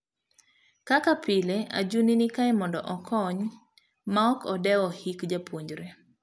Kaka pile, Ajuni nikae mondo okony maok odewo hik japuonjre.